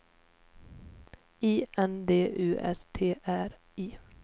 I N D U S T R I